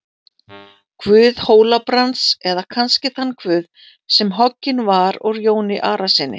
Guð Hóla-Brands, eða kannski þann guð sem hoggin var úr Jóni Arasyni?